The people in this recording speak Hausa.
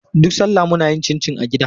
Duk salla muna yin cincin a gida.